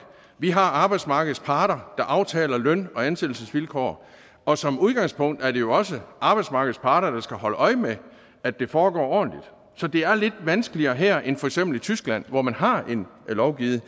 vi har arbejdsmarkedets parter der aftaler løn og ansættelsesvilkår og som udgangspunkt er det jo også arbejdsmarkedets parter der skal holde øje med at det foregår ordentligt så det er lidt vanskeligere her end i for eksempel tyskland hvor man har lovgivet